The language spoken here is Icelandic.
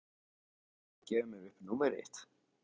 Viltu gjöra svo vel að gefa mér upp númerið þitt?